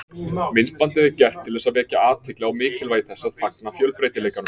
Myndbandið er gert til þess að vekja athygli á mikilvægi þess að fagna fjölbreytileikanum.